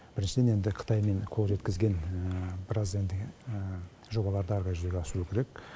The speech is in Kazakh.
біріншіден енді қытаймен қол жеткізген біраз енді жобаларды ары қарай жүзеге асыру керек